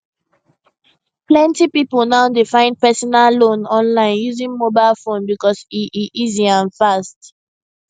plenty people now dey find personal loan online using mobile phone because e e easy and fast